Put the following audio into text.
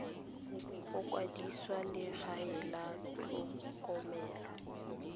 go kwadisa legae la tlhokomelo